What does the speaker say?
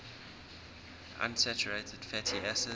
unsaturated fatty acids